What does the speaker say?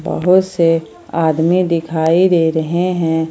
बहुत से आदमी दिखाई दे रहे हैं।